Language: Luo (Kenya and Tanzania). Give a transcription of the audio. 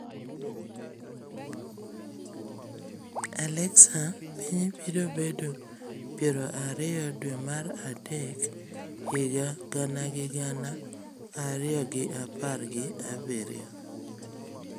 Alexa piny biro bedo piero ariyo dwe mar adek higa gana gi gana ariyo gi apar gi abiro